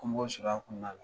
Ko b'olu sɔrɔ a kɔnɔna la